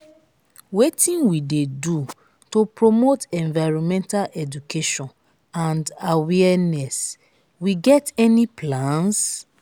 wetin we dey do promote environmental education and awaereness we get any plans?